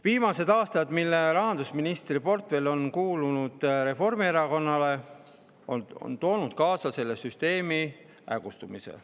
Viimased aastad, mil rahandusministriportfell on kuulunud Reformierakonnale, on toonud kaasa selle süsteemi hägustumise.